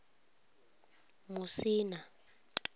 musina